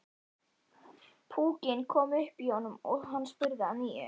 Púkinn kom upp í honum og hann spurði að nýju.